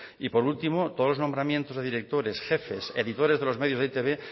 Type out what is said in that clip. y por último todos los nombramientos de directores jefes editores de los medios de e i te be